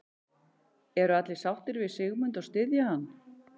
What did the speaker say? Eru allir sáttir við Sigmund og styðja hann?